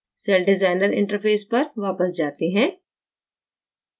cell designer interface पर वापस जाते हैं